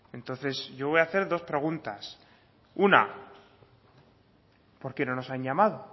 entonces yo voy hacer dos preguntas una por qué no nos han llamado